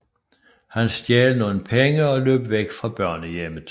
Han stjal nogle penge og løb væk fra børnehjemmet